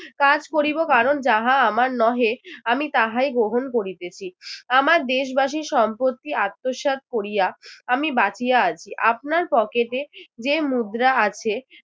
কাজ করিব কারণ যাহা আমার নহে আমি তাহাই গ্রহণ করিতেছি। আমার দেশবাসীর সম্পত্তি আত্মসাৎ করিয়া আমি বাঁচিয়া আছি আপনার pocket এ যে মুদ্রা আছে